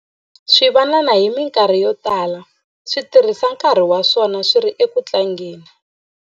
Swivanana hi mikarhi yo tala swi tirhisa nkarhi wa swona swi ri eku tlangeni.